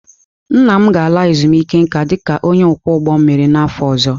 Nna m ga-ala ezumike nka dị ka onye ọkwọ ụgbọ mmiri n'afọ ọzọ.